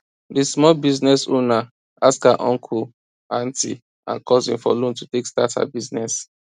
di small business owner ask her uncle aunty and cousin for loan to take start her her business